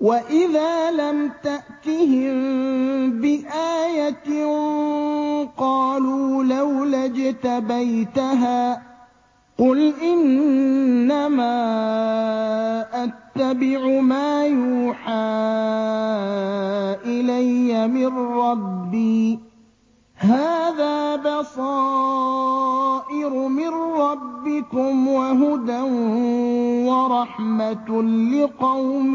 وَإِذَا لَمْ تَأْتِهِم بِآيَةٍ قَالُوا لَوْلَا اجْتَبَيْتَهَا ۚ قُلْ إِنَّمَا أَتَّبِعُ مَا يُوحَىٰ إِلَيَّ مِن رَّبِّي ۚ هَٰذَا بَصَائِرُ مِن رَّبِّكُمْ وَهُدًى وَرَحْمَةٌ لِّقَوْمٍ